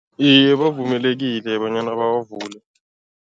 Iye, bavumelekile bonyana bawavule.